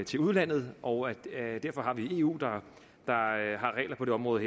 til udlandet og derfor har vi eu der har regler på det område